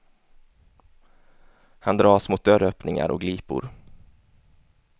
Han dras mot dörröppningar och glipor.